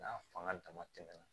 N'a fanga dama tɛmɛna